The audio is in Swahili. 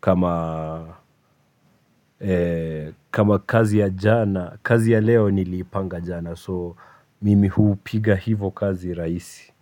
kama kama kazi ya jana kazi ya leo niliipanga jana so mimi huu piga hivo kazi rahisi.